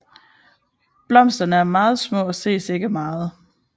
Blomsterne er meget små og ses ikke meget